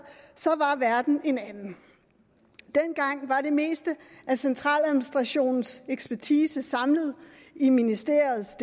var verden en anden dengang var det meste af centraladministrationens ekspertise samlet i ministeriernes